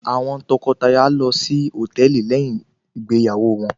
Àwọn tọkọtaya lọ sí hòtẹ́ẹ̀lì lẹ́yìn ìgbéyàwó wọn.